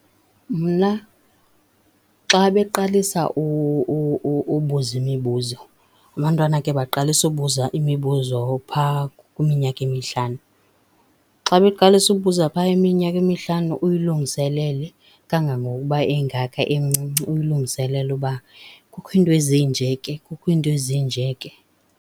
Mna xa beqalisa ubuza imibuzo. Abantwana ke baqalisa ubuza imibuzo phaa kwiminyaka emihlanu. Xa beqalisa ubuza phaa iminyaka imihlanu uyilungiselele kangangokuba engaka emncinci, uyilungiselele uba kukho iinto ezinje ke, kukho iinto ezinje ke.